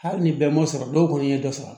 Hali ni bɛɛ m'o sɔrɔ dɔw kɔni ye dɔ sɔrɔ